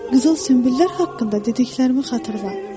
Qızıl sünbüllər haqqında dediklərimi xatırla.